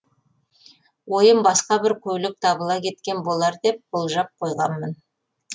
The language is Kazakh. ойым басқа бір көлік табыла кеткен болар деп болжап қойғанмын